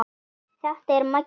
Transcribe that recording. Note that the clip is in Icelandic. Þetta er Maggi!